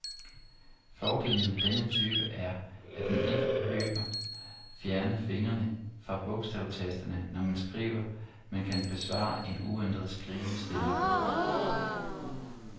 Fordelen ved denne type er, at man ikke behøver fjerne fingrene fra bogstavtasterne, når man skriver, men kan bevare en uændret skrivestilling.